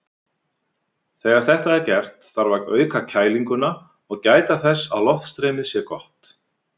Þegar þetta er gert þarf að auka kælinguna og gæta þess að loftstreymið sé gott.